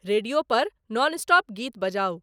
radio पर nonstop गीत बजाऊ